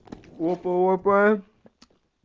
опа опа